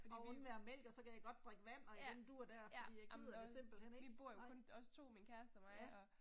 Og undvære mælk og så kan jeg godt drikke vand og i den dur der fordi jeg gider det simpelthen, ikke, nej, ja